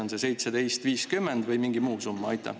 On see 17,50 või mingi muu summa?